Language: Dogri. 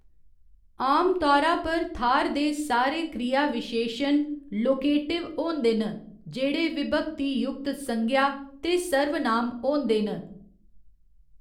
आमतौरा पर थाह्‌‌‌र दे सारे क्रियाविशेशन 'लोकेटिव' होंदे न, जेह्‌‌ड़े विभक्ती युक्त संज्ञा ते सर्वनाम होंदे न।